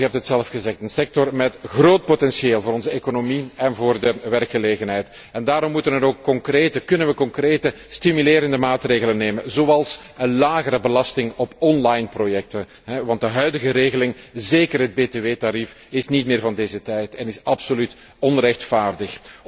Commissaris, u hebt het net zelf gezegd dit is een sector met groot potentieel voor onze economie en voor de werkgelegenheid en daarom moeten we concrete stimulerende maatregelen nemen, zoals een lagere belasting op online projecten, want de huidige regeling, zeker het BTW tarief, is niet meer van deze tijd en is absoluut onrechtvaardig.